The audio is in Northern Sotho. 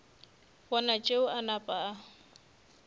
bona tšeo a napa a